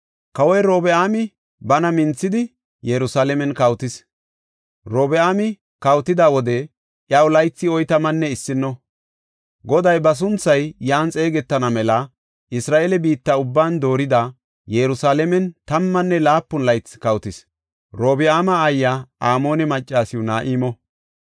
Kawoy Robi7aami bana minthidi Yerusalaamen kawotis; Robi7aami kawotida wode iyaw laythi oytamanne issino. Goday ba sunthay yan xeegetana mela Isra7eele biitta ubban doorida, Yerusalaamen tammanne laapun laythi kawotis. Robi7aama aayiya Amoone maccas Na7imo.